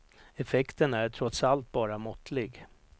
Effekten är trots allt bara måttlig.